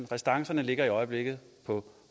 restancerne ligger i øjeblikket på